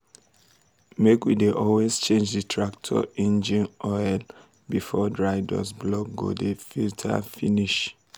make we dey always change d tractor engine um oil before dry dust block go um di filter finish.